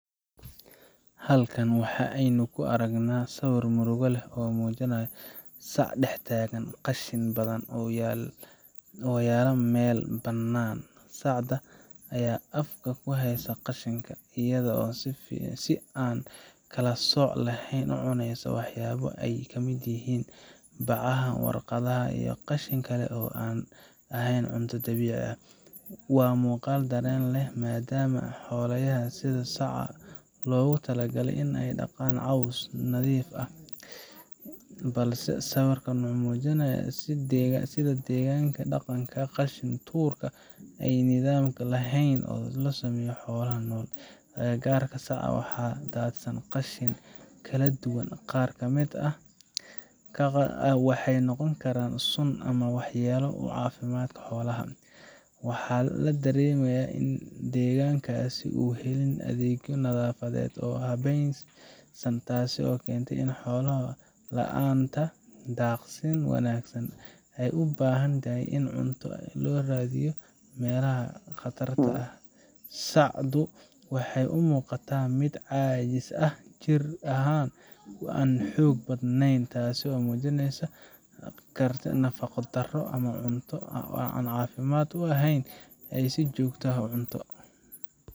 Halkan waxa aynu ku argna sawir murugo leeh oo muujinaya saac dextaagan qashin badhan oo yala meel banaan, sacda aya afka ku haysa qashinka iyadha oo si aan kala sooc laheyn u cuneysa waxyabo aay kamid yihiin bacaha, warqadhaha iyo qashin kale oo an ahayn cunto dawiici ah. waa muuqal daren leeh maadama xolayahas sidha saaca logu tala gale in aay laqaan cows nadhiif ah balse sawirkan mxuu muujinaya sidha deeganka daqanka qashin tuurka ay nidham laheyn. Agagarka sacaa waxa daadsan qashin kala duwaan qaar kamid ah waxay noqon karan suun ama wax yala oo caafimadka xolaha wax u keenayo, waxa la daremi kara in deegankas uu helin adhegyo nadhafadhedh, taaso kentee in xolaha laanta daaqsin wanagsan ee u baahantahy in cunto looraadhiyo meelaha qatarta aah, sacdu waxaay u muuqata mid caajis ah jir ahan oo an xoog badneyn taasi oo muujineysa karti, nafaqo daro ama cunto aan caafimad u a heyn ay si joogta ah u cunto.